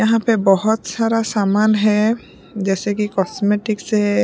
यहाँ पे बहोत सारा सामान है जैसेकि कॉस्मेटिक्स सेए --